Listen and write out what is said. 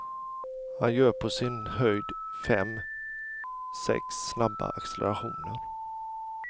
Han gör på sin höjd fem, sex snabba accelerationer.